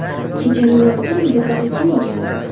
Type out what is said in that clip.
Kechaning yorqin yulduzlari kim ekan?